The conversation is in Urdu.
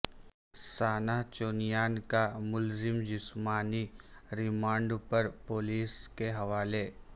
سانحہ چونیاں کا ملزم جسمانی ریمانڈ پر پولیس کے حوالے